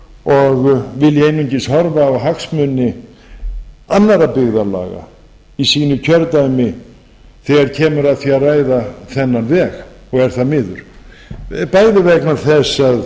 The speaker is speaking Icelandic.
og vilja einungis horfa á hagsmuni annarra byggðarlaga í sínu kjördæmi þegar kemur að því að ræða þennan veg og er það miður bæði vegna þess að